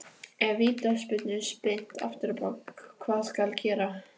Ef Vítaspyrnu er spyrnt afturábak, hvað skal gera?